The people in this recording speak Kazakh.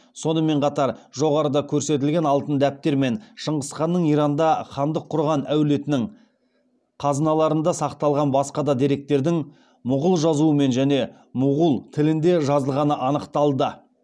сонымен қатар жоғарыда көрсетілген алтын дәптер мен шыңғыз ханның иранда хандық құрған әулетінің қазыналарында сақталған басқа да деректердің мұғул жазуымен және мұғул тілінде жазылғаны анықталды